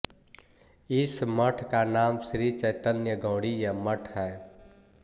इस मठ का नाम श्री चैतन्य गौड़ीय मठ है